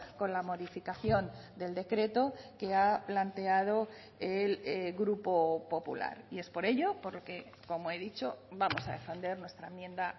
con la modificación del decreto que ha planteado el grupo popular y es por ello por lo que como he dicho vamos a defender nuestra enmienda